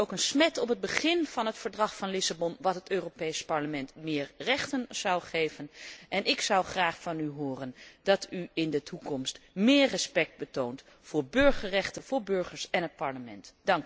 Ik vind het ook een smet op het begin van het Verdrag van Lissabon wat het Europees Parlement meer rechten zou geven en ik zou graag van u horen dat u in de toekomst meer respect toont voor burgerrechten, voor burgers en voor het Parlement.